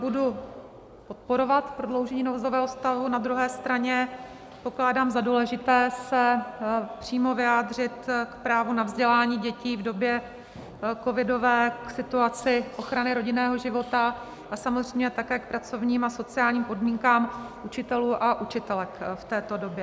Budu podporovat prodloužení nouzového stavu, na druhé straně pokládám za důležité se přímo vyjádřit k právu na vzdělání dětí v době covidové, k situaci ochrany rodinného života a samozřejmě také k pracovním a sociálním podmínkám učitelů a učitelek v této době.